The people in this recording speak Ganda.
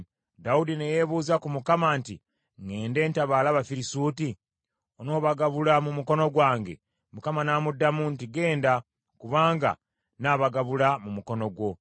Dawudi ne yeebuuza ku Mukama nti, “Ŋŋende ntabaale Abafirisuuti? Onoobagabula mu mukono gwange?” Mukama n’amuddamu nti, “Genda, kubanga nnaabagabula mu mukono gwo.”